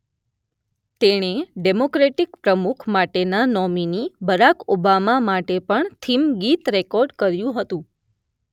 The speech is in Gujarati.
તેણે ડેમોક્રેટિક પ્રમુખ માટેના નોમીની બરાક ઓબામા માટે પણ થીમ ગીત રેકોર્ડ કર્યું હતું.